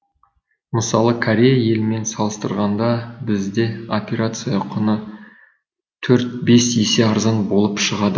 мысалы корея елімен салыстырғанда бізде операция құны төрт бес есе арзан болып шығады